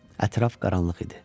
Ətraf qaranlıq idi.